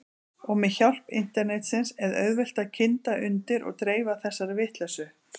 Og með hjálp internetsins er auðvelt að kynda undir og dreifa þessari vitleysu.